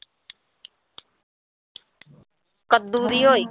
ਕੱਦੂ ਨੀ ਹੋਏ।